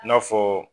I n'a fɔ